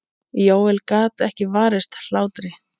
Jóel gat ekki varist hlátri.